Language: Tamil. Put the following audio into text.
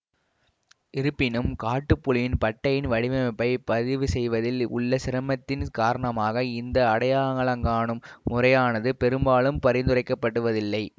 இருப்பினும் காட்டுப்புலியின் பட்டையின் வடிவமைப்பைப் பதிவு செய்வதில் உள்ள சிரமத்தின் காரணமாக இந்த அடையாளங்காணும் முறையானது பெரும்பாலும் பரிந்துரைக்கப்படுவதில்லை